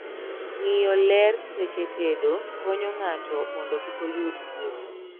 ng'iyo ler seche tedo konyo ng'ato mondo kikoyud tuoche